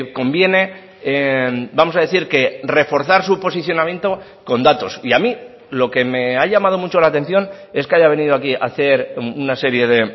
conviene vamos a decir que reforzar su posicionamiento con datos y a mí lo que me ha llamado mucho la atención es que haya venido aquí a hacer una serie de